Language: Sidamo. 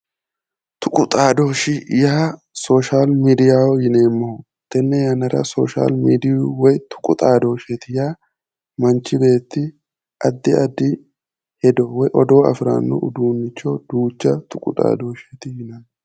Tuqu xaadoshshi yaa social midiyaho yoneemmoho tenne yannara social midiyu woy tuqu xaadoshsheeti yaa manchi beetti addi addi hedo woy odoo afiranno uduunnicho duucha tuqu xaadooshsheeti yinanni.